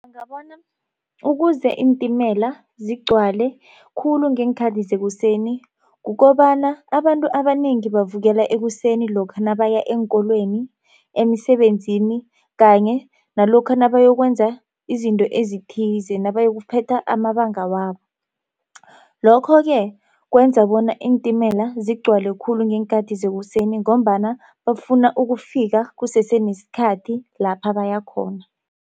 Ngabona ukuze iintimela zigcwale khulu ngeenkhathi zekuseni kukobana abantu abanengi bavukela ekuseni lokha nabaya eenkolweni, emisebenzini kanye nalokha nabayokwenza izinto ezithize nabayokuphetha amabanga wabo lokho ke kwenza bona iintimela zigcwale khulu ngeenkathi zekuseni ngombana bafuna ukufika kusese nesikhathi lapha baya khona.